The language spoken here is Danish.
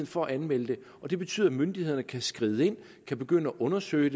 for at anmelde det betyder at myndighederne kan skride ind kan begynde at undersøge